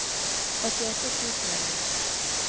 åttiåtte tusen og ni